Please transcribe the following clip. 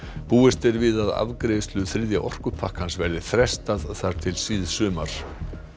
búist er við að afgreiðslu þriðja orkupakkans verði frestað þar til síðsumars